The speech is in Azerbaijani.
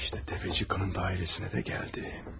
İşte Təpəçik qadının dairesinə də gəldim.